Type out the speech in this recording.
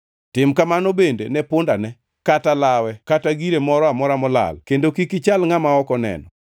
Tim kamano bende ne pundane, kata lawe kata gire moro amora molal kendo kik ichal ngʼama ok oneno.